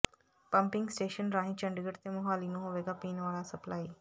pumping station ਰਾਹੀਂ ਚੰਡੀਗੜ੍ਹ ਤੇ ਮੋਹਾਲੀ ਨੂੰ ਹੋਵੇਗਾ ਪੀਣ ਵਾਲਾ ਸਪਲਾਈ